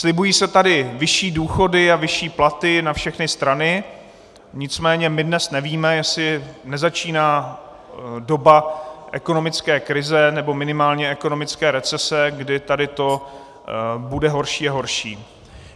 Slibují se tady vyšší důchody a vyšší platy na všechny strany, nicméně my dnes nevíme, jestli nezačíná doba ekonomické krize, nebo minimálně ekonomické recese, kdy tady to bude horší a horší.